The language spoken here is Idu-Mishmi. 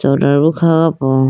tolar bo kha howa po.